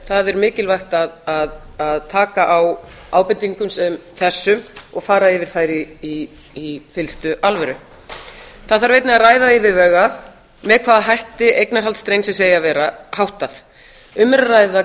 það er mikilvægt að taka á ábendingum sem þessum og fara yfir þær í fyllstu alvöru það þarf einnig að ræða yfirvegað með hvaða hætti eignarhald strengsins eigi að vera háttað um er að ræða